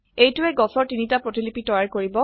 এইটোৱে গছৰ তিনটা প্ৰতিলিপি তৈয়াৰ কৰিব